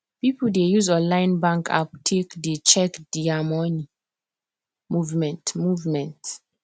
people dey use online bank app take dey check there money movement movement